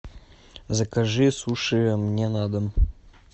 закажи суши мне на дом